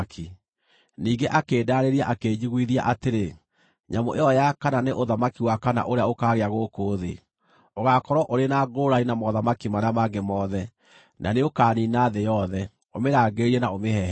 “Ningĩ akĩndaarĩria akĩnjiguithia atĩrĩ: ‘Nyamũ ĩyo ya kana nĩ ũthamaki wa kana ũrĩa ũkaagĩa gũkũ thĩ. Ũgaakorwo ũrĩ na ngũũrani na mothamaki marĩa mangĩ mothe, na nĩũkaniina thĩ yothe, ũmĩrangĩrĩrie na ũmĩhehenje.